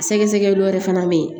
Sɛgɛsɛgɛli wɛrɛ fana bɛ yen